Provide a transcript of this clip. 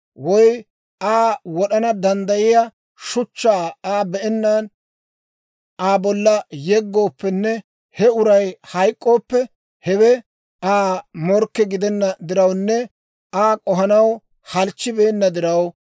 woy Aa wod'ana danddayiyaa shuchchaa I be'ennaan Aa bolla yeggooppenne he uray hayk'k'ooppe, hewe Aa morkke gidenna dirawunne Aa k'ohanaw halchchibeenna diraw,